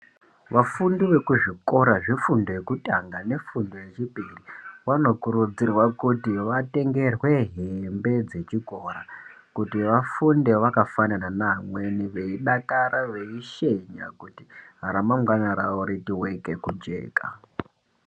Vafundi vekuzvikora zvefundo yekutanga nechipiri vanokurudzirwa kut vatenge hembe dzechikora kuti vafunde vakafanana nevamweni, veidakara, veishenya kuti ramangwana ravo riite rechijeka.